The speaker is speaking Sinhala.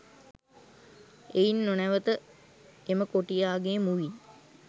එයින් නොනැවත එම කොටියාගේ මුවින්